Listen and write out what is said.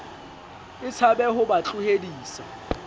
e tshabe ho ba tlohedisa